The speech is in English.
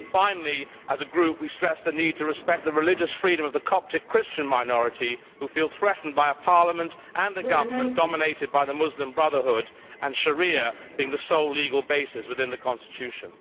Finally, as a group, we stress the need to respect the religious freedom of the Coptic Christian minority, who feel threatened by a Parliament and a government dominated by the Muslim Brotherhood, and by Sharia being the sole legal basis within the Constitution.